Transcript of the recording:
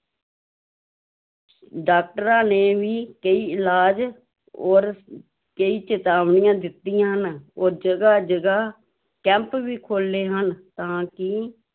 ਡਾਕਟਰਾਂ ਨੇ ਵੀ ਕਈ ਇਲਾਜ ਔਰ ਕਈ ਚੇਤਾਵਨੀਆਂ ਦਿੱਤੀਆਂ ਹਨ ਔਰ ਜਗ੍ਹਾ-ਜਗ੍ਹਾ ਕੈਂਪ ਵੀ ਖੋਲੇ ਹਨ ਤਾਂ ਕਿ